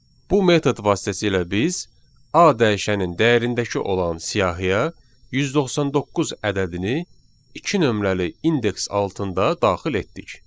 Bu metod vasitəsilə biz A dəyişəninin dəyərindəki olan siyahıya 199 ədədini iki nömrəli indeks altında daxil etdik.